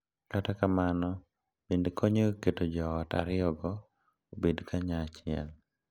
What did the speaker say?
Kata kamano, bende konyo e keto joot ariyogo obed kanyachiel.